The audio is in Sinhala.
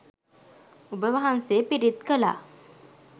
ඔබ වහන්සේ පිරිත් කළා